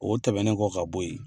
O tɛmɛnen kɔ ka bɔ yen